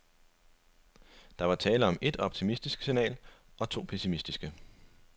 Der var tale om et optimistisk signal og to pessimistiske.